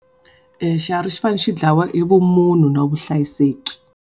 Xiharhi xi fane xi dlawa hi vumhunu na vuhlayiseki.